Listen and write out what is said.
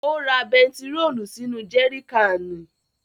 Ó ra bẹntiróòlù sínú jẹri káànì.